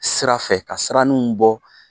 Sira fɛ ka siraninw bɔ.